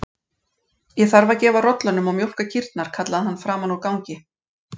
Ég þarf að gefa rollunum og mjólka kýrnar, kallaði hann framan úr gangi.